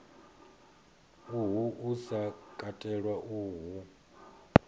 uhu u sa katelwa hu